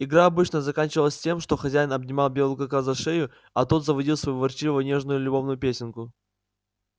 игра обычно заканчивалась тем что хозяин обнимал белого клыка за шею а тот заводил свою ворчливо нежную любовную песенку